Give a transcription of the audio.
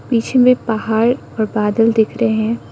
पीछे में पहाड़ और बादल दिख रहे हैं।